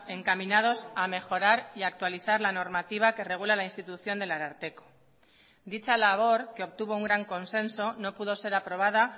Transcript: encaminados a mejorar y a actualizar la normativa que regula la institución del ararteko dicha labor que obtuvo un gran consenso no pudo ser aprobada